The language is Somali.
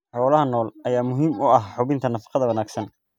Xoolaha nool ayaa muhiim u ah hubinta nafaqada wanaagsan.